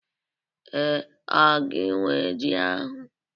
Ee, ọ gị nwe ji ahụ